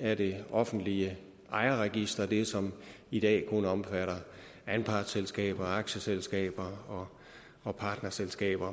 af det offentlige ejerregister det som i dag kun omfatter anpartsselskaber aktieselskaber og partnerselskaber